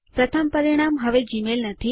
પ્રથમ પરિણામ હવે જીમેઇલ નથી